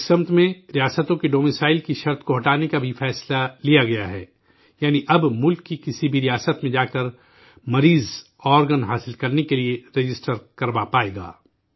اس سمت میں ریاستوں کے ڈومیسائل کی شرط کو ہٹانے کا فیصلہ بھی لیا گیا ہے، یعنی اب ملک کی کسی بھی ریاست میں جا کر مریض آرگن حاصل کرنے کے لیے رجسٹر کروا پائے گا